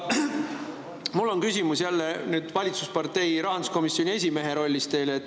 Mul on teile jälle küsimus kui valitsuspartei rahanduskomisjoni esimehele.